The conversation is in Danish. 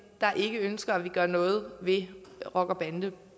der ikke ønsker at vi gør noget ved rocker bande